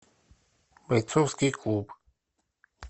бойцовский клуб